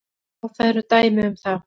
Já, það eru dæmi um það.